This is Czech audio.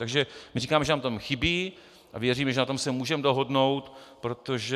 Takže my říkáme, že nám tam chybí, a věříme, že na tom se můžeme dohodnout, protože...